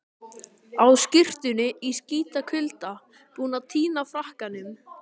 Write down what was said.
Á skyrtunni í skítakulda, búinn að týna frakkanum.